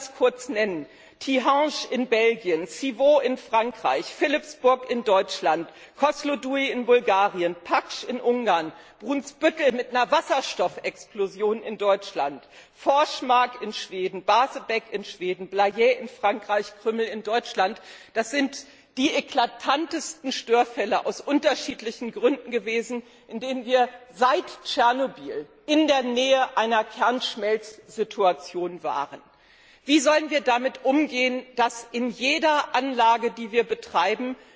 Ich will sie ganz kurz nennen Tihange in Belgien, Civaux in Frankreich, Philippsburg in Deutschland, Kosloduj in Bulgarien, Paks in Ungarn, Brunsbüttel mit einer Wasserstoffexplosion in Deutschland, Forsmark in Schweden, Barsebäck in Schweden, Blayais in Frankreich, Krümmel in Deutschland dort sind die eklatantesten Störfälle aus unterschiedlichen Gründen passiert, bei denen wir seit Tschernobyl in der Nähe einer Kernschmelzsituation waren. Wie sollen wir damit umgehen, dass sich in jeder Anlage, die wir betreiben,